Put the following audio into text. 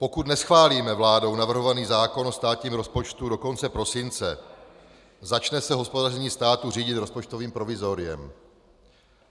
Pokud neschválíme vládou navrhovaný zákon o státním rozpočtu do konce prosince, začne se hospodaření státu řídit rozpočtovým provizoriem.